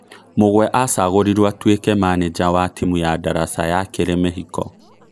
Mũgwe acagorirwo atuekĩ maneja wa timu ya daraca ya kĩrĩ mĩhiko